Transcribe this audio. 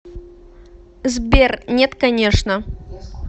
сбер нет конечно